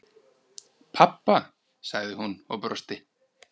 Pabba? sagði hún og brosti.